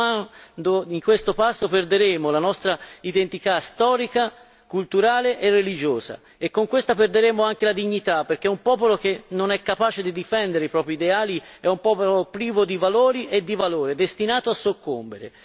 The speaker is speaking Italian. Continuando di questo passo perderemo la nostra identità storica, culturale e religiosa e, con questa, perderemo anche la dignità, perché un popolo incapace di difendere i propri ideali è un popolo privo di valori e di valore, destinato a soccombere.